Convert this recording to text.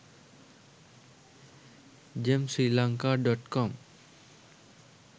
gem sri lanka.com